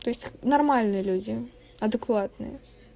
то есть нормальные люди адекватные